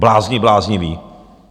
Blázni blázniví!